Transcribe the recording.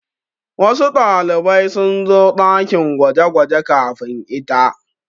Wasu ɗalibai sun zo ɗakin gwaje-gwaje kamin ita.